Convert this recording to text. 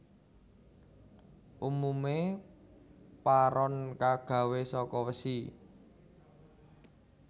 Umume paron kagawe saka wesi